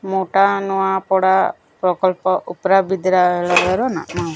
ମୋଟା ନୂଆପଡ଼ା ପ୍ରକଳ୍ପ ଉପ୍ରା ବିଦ୍ରାଳୟ ର ନାମ।